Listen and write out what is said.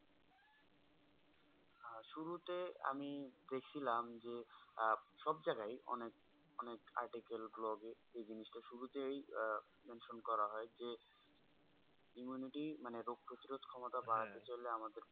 আহ শুরুতে আমি দেখিলাম যে, আহ সব জায়গাই অনেক অনেক article, blog এ। এই জিনিস টা শুরুতেই আহ mention করা হয় যে, immunity মানে রোগ পতিরোধ ক্ষমতা বাড়াতে চাইলে আমাদেরকে